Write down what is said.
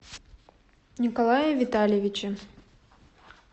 николае витальевиче